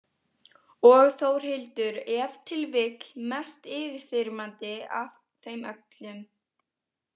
Og Þórhildur ef til vill mest yfirþyrmandi af þeim öllum.